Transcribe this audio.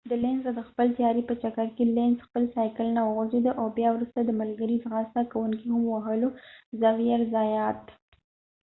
د خپل د تیاری په چکر کې لینز lenz د خپل سایکل نه وغورځیده او بیا وروسته د ملګری ځغاسته کوونکې زاوير زایات zavier zayat هم ووهلو